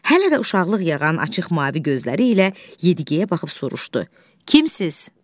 Hələ də uşaqlıq yağan açıq mavi gözləri ilə Yediyeyə baxıb soruşdu: Kimsiz?